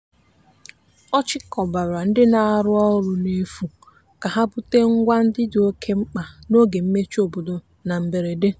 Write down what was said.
ọ chịkọbara ndị na-arụ ọrụ n'efu ka ha bute ngwa ndị dị oke oke mkpa n'oge mmechi obodo na mberede.